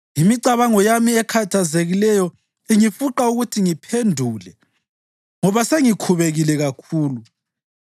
“Imicabango yami ekhathazekileyo ingifuqa ukuthi ngiphendule ngoba sengikhubekile kakhulu.